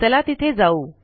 चला तिथे जाऊ